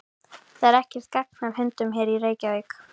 Það er ekkert gagn af hundunum hér í Reykjavík.